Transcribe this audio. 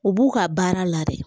U b'u ka baara la de